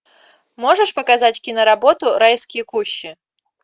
можешь показать киноработу райские кущи